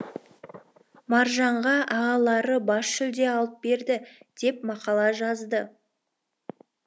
маржанға ағалары бас жүлде алып берді деп мақала жазды